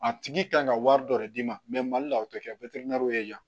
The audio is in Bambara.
A tigi kan ka wari dɔ de d'i ma mali la o tɛ kɛ ye yan